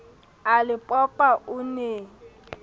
a le popa o ne